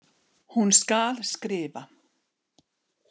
Hún skal skrifa!